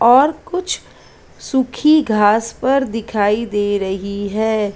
और कुछ सूखी घास पर दिखाई दे रही है।